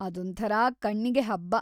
ಅದೊಂಥರ ಕಣ್ಣಿಗೆ ಹಬ್ಬ.